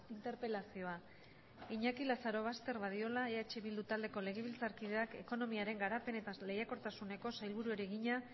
interpelazioa iñaki lazarobaster badiola eh bildu taldeko legebiltzarkideak ekonomiaren garapen eta lehiakortasuneko sailburuari egina